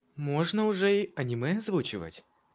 можно уже аниме озвучивать